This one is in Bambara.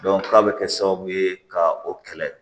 k'a bɛ kɛ sababu ye ka o kɛlɛ